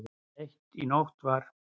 Um eitt í nótt var